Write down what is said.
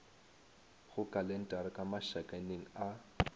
go kalentara ka mašakaneng a